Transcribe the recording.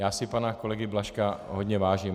Já si pana kolegy Blažka hodně vážím.